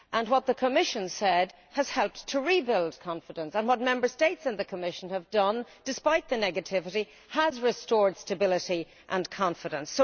What the Commission said has helped to rebuild confidence and what the Member States and the Commission have done despite the negativity has restored stability and confidence.